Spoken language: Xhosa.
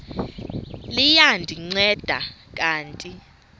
liya ndinceda kanti